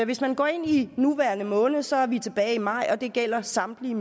hvis man går ind i nuværende måned så er vi tilbage i maj og det gælder samtlige